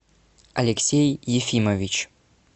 алексей ефимович